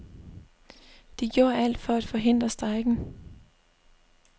De gjorde alt for at forhindre strejken.